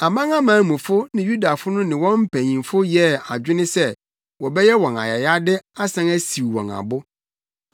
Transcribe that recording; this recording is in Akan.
Amanamanmufo ne Yudafo no ne wɔn mpanyimfo yɛɛ adwene se wɔbɛyɛ wɔn ayayade asan asiw wɔn abo.